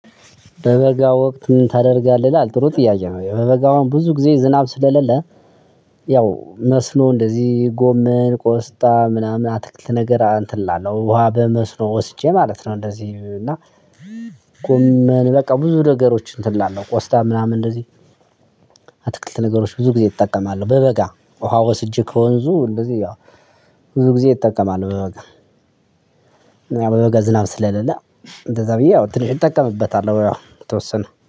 በበጋ ወቅት ምን ታደርጋለህ ይላል ጥሩ ጥያቄ ነው በበጋውም ብዙ ጊዜ ዝናብ ስለሌለ። ያው መስኖ እንደዚህ ጎመን ቆስጣ ምናምን አትክልት ነገር እንትን እላለሁ ውሃ በመስኖ ወስጄ ማለት ነው። እንደዚህ እና ጎመን ብዙ ነገሮች እንትን እላለሁ ቆስታ ምናምን እንደዚህ ነገሮች ብዙ ጊዜ እጠቀማለሁ። በበጋ ውሃ ወስጄ ከወንዙ እንደዚህ ያው ብዙ ጊዜ እጠቀማለሁ። በበጋገ ያው በበጋ ዝናብ ስለሌለ እንደዛ ብዬ ያው ትንሽ እጠቀምበታለሁ። ያው የተወሰነ